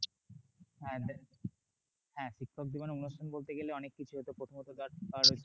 হ্যাঁ হ্যাঁ হ্যাঁ শিক্ষক দিবসের অনুষ্ঠান বলতে গেলে অনেক কিছু প্রথমত ধর